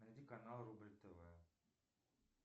найди канал рубль тв